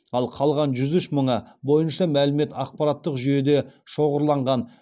ал қалған жүз үш мыңы бойынша мәлімет ақпараттық жүйеде шоғырланған